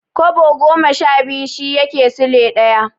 Kwabo goma sha biyu shi yake Sule ɗaya.